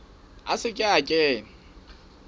a se ke a kena